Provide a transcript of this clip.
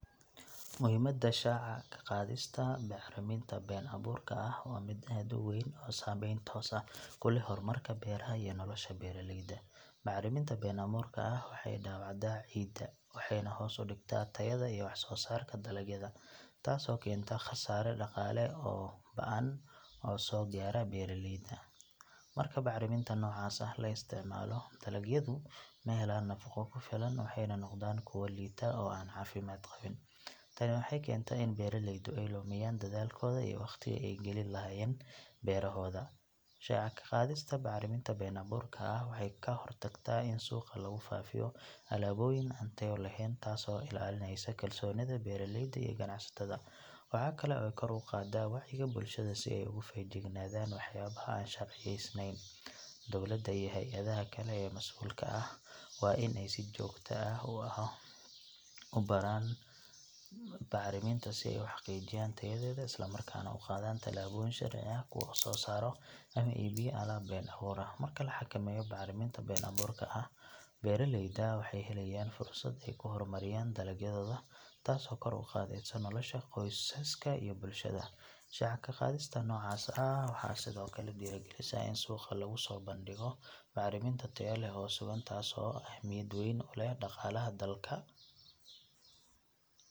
Muhiimada shaaca ka qaadista bacriminta been abuurka ah waa mid aad u weyn oo saameyn toos ah ku leh horumarka beeraha iyo nolosha beeraleyda. Bacriminta been abuurka ah waxay dhaawacdaa ciidda, waxayna hoos u dhigtaa tayada iyo wax soo saarka dalagyada, taasoo keenta khasaare dhaqaale oo ba’an oo soo gaadha beeraleyda. Marka bacriminta noocaas ah la isticmaalo, dalagyadu ma helaan nafaqo ku filan waxayna noqdaan kuwo liita oo aan caafimaad qabin. Tani waxay keentaa in beeraleydu ay lumiyaan dadaalkooda iyo wakhtigii ay gelin lahaayeen beerahooda. Shaaca ka qaadista bacriminta been abuurka ah waxay ka hortagtaa in suuqa lagu faafiyo alaabooyin aan tayo lahayn, taasoo ilaalinaysa kalsoonida beeraleyda iyo ganacsatada. Waxa kale oo ay kor u qaadaa wacyiga bulshada si ay uga feejignaadaan waxyaabaha aan sharciyeysnayn. Dowladda iyo hay’adaha kale ee mas’uulka ka ah waa in ay si joogto ah u baaraan bacriminta si ay u xaqiijiyaan tayadeeda isla markaana u qaadaan tallaabo sharci ah kuwa soo saara ama iibiyo alaab been abuur ah. Marka la xakameeyo bacriminta been abuurka ah, beeraleydu waxay helayaan fursad ay ku horumariyaan dalagyadooda, taasoo kor u qaadaysa nolosha qoysaska iyo bulshada. Shaaca ka qaadista noocaas ah waxay sidoo kale dhiirrigelisaa in suuqa lagu soo bandhigo bacriminta tayo leh oo sugan, taasoo ahmiyad weyn u leh dhaqaalaha dalka.